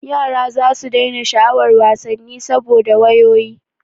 Yara zasu daina sha'awar wasanni saboda wayoyi.